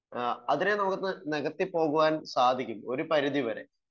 അതിനെ നമുക്ക് നികത്തി പോകാൻ സാധിക്കും ഒരു പരിധി വരെ